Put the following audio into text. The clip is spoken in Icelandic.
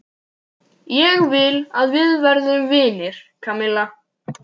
Ég vil að við verðum vinir, Kamilla.